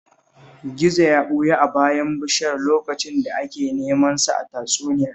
Gizo ya ɓuya a bayan bishiya lokacin da ake neman sa a tatsuniyar